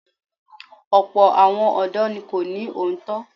Ọ̀pọ̀ àwọn ọ̀dọ́ ní kò ní òótọ́.